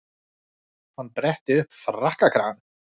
Hann bretti upp frakkakragann.